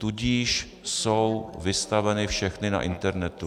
Tudíž jsou vystaveny všechny na internetu.